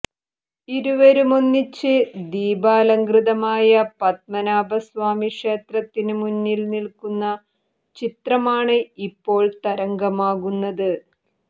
ഇരുവരുമൊന്നിച്ച് ദീപാലംകൃതമായ പദ്മനാഭസ്വാമി ക്ഷേത്രത്തിന് മുന്നിൽ നിൽക്കുന്ന ചിത്രമാണ് ഇപ്പോൾ തരംഗമാകുന്നത്